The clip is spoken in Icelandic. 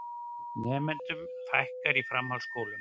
Nemendum fækkar í framhaldsskólum